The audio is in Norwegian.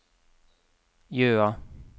Jøa